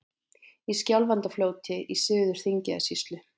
Í Skjálfandafljóti í Suður-Þingeyjarsýslu.